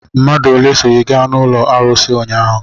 Mmadụ ole so gị gaa n'ụlọ arụsị ụnyaahụ?